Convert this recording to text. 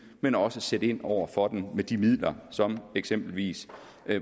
men også sætte ind over for den med de midler som eksempelvis